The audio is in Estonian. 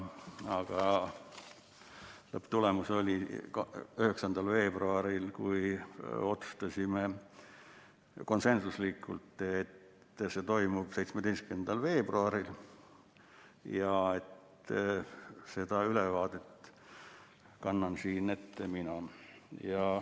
Aga lõpptulemusena otsustasime 9. veebruaril konsensuslikult, et see toimub 17. veebruaril ja et ülevaate kannan siin ette mina.